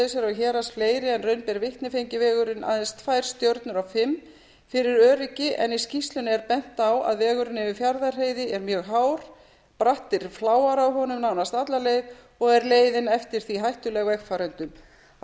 héraðs fleiri en raun ber vitni fengi vegurinn aðeins tvær stjörnur af fimm fyrir öryggi en í skýrslunni er bent á að vegurinn yfir fjarðarheiði er mjög hár brattir fláar á honum nánast alla leið og er leiðin eftir því hættuleg vegfarendum á